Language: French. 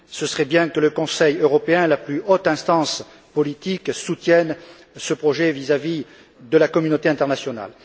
Ce serait bien que le Conseil européen, la plus haute instance politique, soutienne ce projet vis à vis de la communauté internationale.